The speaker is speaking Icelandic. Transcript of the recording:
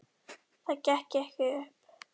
Það gekk ekki upp.